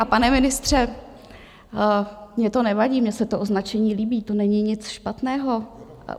A pane ministře, mně to nevadí, mně se to označení líbí, to není nic špatného.